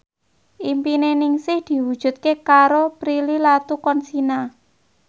impine Ningsih diwujudke karo Prilly Latuconsina